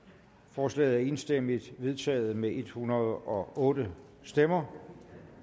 forslaget er enstemmigt vedtaget med en hundrede og otte stemmer